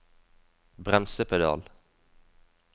bremsepedal